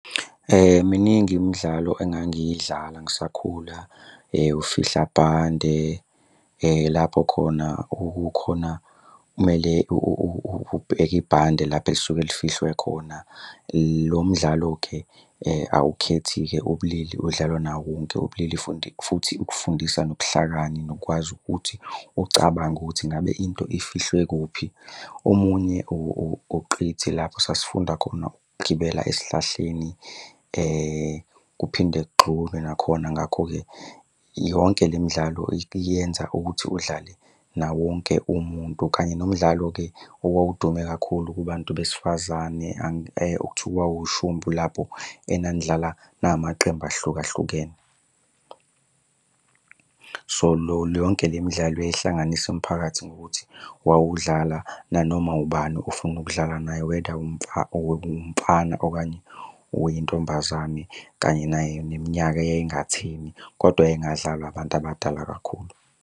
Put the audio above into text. Miningi imidlalo engangiyidlala ngisakhula, ufihla bhande. Lapho khona okukhona, kumele ubheke ibhande lapho elisuke lifihliwe khona. Lo mdlalo-ke awukhethi-ke ubulili udlalwa nawo wonke ubulili futhi ukufundisa nobuhlakani nokwazi ukuthi ucabange ukuthi ngabe into ifihliwe kuphi. Omunye uqithi, lapho esasifunda khona ukugibela esihlahleni kuphinde kugxunywe nakhona. Ngakho-ke yonke le midlalo ikuyenza ukuthi udlale nawonke umuntu. Kanye nomdlalo-ke owawudume kakhulu kubantu besifazane ekuthiwa ushumpu lapho enanidlala namaqembu ahlukahlukene. So, yonke le midlalo yayihlanganisa umphakathi ngokuthi wawudlala nanoma ubani ofuna ukudlala naye, whether umfana okanye uyintombazane kanye naye neminyaka eyayingatheni, kodwa yayingadlalwa abantu abadala kakhulu.